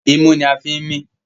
Imú ní a fín mí.